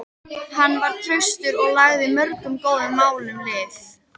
Hann var traustur og lagði mörgum góðum málum lið.